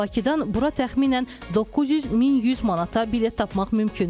Bakıdan bura təxminən 900-1100 manata bilet tapmaq mümkündür.